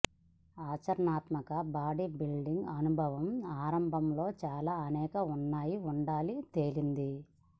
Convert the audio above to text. ఆచరణాత్మక బాడీబిల్డింగ్ అనుభవం ఆరంభంలో చాలా అనేక ఉన్నాయి ఉండాలి తేలింది